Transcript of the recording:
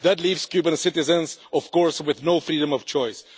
That leaves Cuban citizens, of course, with no freedom of choice.